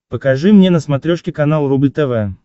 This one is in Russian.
покажи мне на смотрешке канал рубль тв